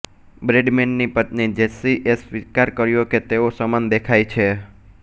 Bradman ની પત્ની Jessie એ સ્વીકાર કર્યો કે તેઓ સમાન દેખાય છે